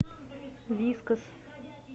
вискас